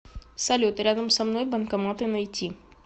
салют рядом со мной банкоматы найти